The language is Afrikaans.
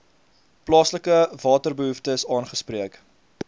plaaslike waterbehoeftes aangespreek